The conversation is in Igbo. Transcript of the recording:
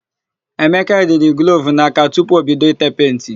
Emeka yiri glovu n'aka tupu o bido i tee penti.